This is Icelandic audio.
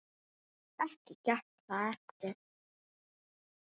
Ekki gekk það eftir.